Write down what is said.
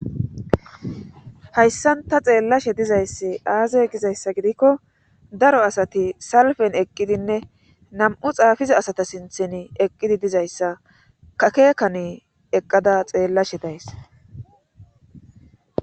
hayssan ta xeellashe dizayssi aaze gizayssa gidikko daro asati salfen eqqidinne nam7u xaafiza asata sinthen eqqidi dizayssa kakeekani eqqada xeellashe days